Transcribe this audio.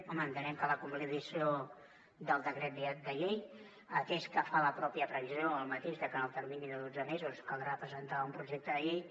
home entenem que la convalidació del decret llei atès que fa la pròpia previsió el mateix de que en el termini de dotze mesos caldrà presentar un projecte de llei